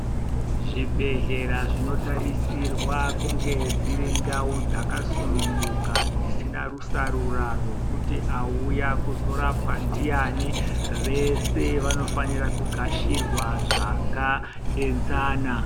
Zvibhedhlera zvinotarisirwe kunga dziri ndau dzasununguka dzisina rusarura rwekuti auya kuzorapwa ndiani, veshe vanofanire kugashirwa zvakaenzana.